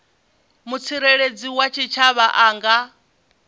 mutsireledzi wa tshitshavha a nga